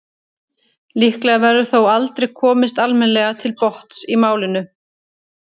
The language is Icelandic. líklega verður þó aldrei komist almennilega til botns í málinu